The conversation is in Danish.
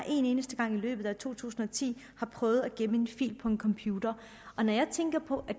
en eneste gang i løbet to tusind og ti har prøvet at gemme en fil på en computer når jeg tænker på